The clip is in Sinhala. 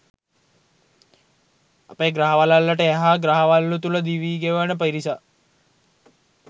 අපේ ග්‍රහ වළල්ලට එහා ග්‍රහ වළලු තුළ දිවි ගෙවන පිරිසක්.